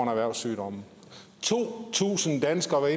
erhvervssygdom to tusind danskere